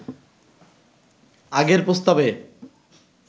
আগের প্রস্তাবে